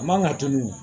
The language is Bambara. A man kan ka tunun